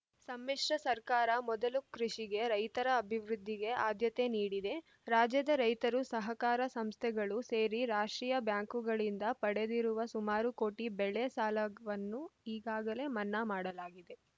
ಸಮ್ಮಿಶ್ರ ಸರ್ಕಾರ ಮೊದಲು ಕೃಷಿಗೆ ರೈತರ ಅಭಿವೃದ್ಧಿಗೆ ಆದ್ಯತೆ ನೀಡಿದೆ ರಾಜ್ಯದ ರೈತರು ಸಹಕಾರ ಸಂಸ್ಥೆಗಳು ಸೇರಿ ರಾಷ್ಟ್ರೀಯ ಬ್ಯಾಂಕುಗಳಿಂದ ಪಡೆದಿರುವ ಸುಮಾರು ಕೋಟಿ ಬೆಳೆ ಸಾಲಗ್ ವನ್ನು ಈಗಾಗಲೇ ಮನ್ನಾ ಮಾಡಲಾಗಿದೆ